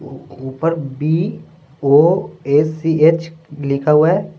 ऊपर B O A C H लिखा हुआ है।